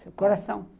Do coração.